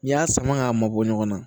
N'i y'a sama k'a mɔ bɔ ɲɔgɔn na